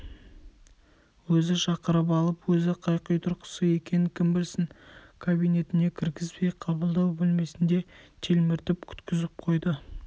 өзі шақырып алып өзі қай құйтұрқысы екенін кім білсін кабинетіне кіргізбей қабылдау бөлмесінде телміртіп күткізіп қойды